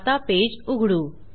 आता पेज उघडू